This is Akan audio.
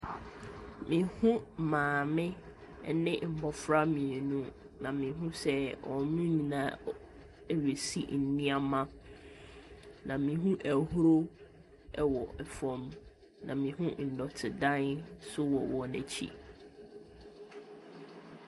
Me hu maame ɛne mmɔfra mmienu na me hu sɛ ɔmo nyinaa ɛresi nnoɔma na me hu ahuro ɛwɔ fɛm na me hu nnɔte dan nso wɔ wɔn akyi.